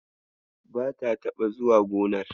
Bata taɓa zuwa gonar.